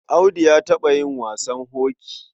Audu ya taɓa yin wasan hoki.